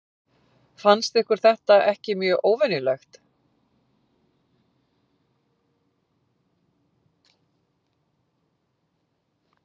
Fannst ykkur þetta ekki mjög óvenjulegt?